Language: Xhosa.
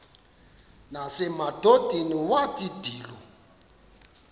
nasemadodeni wathi ndilu